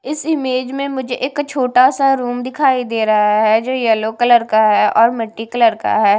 इस इमेज में मुझे एक छोटा सा रूम दिखाई दे रहा है जो येलो कलर का है और मिट्टी कलर का है।